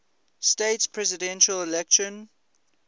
states presidential election